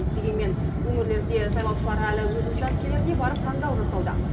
дегенмен өңірлерде сайлаушылар әлі өз учаскелеріне барып таңдау жасауда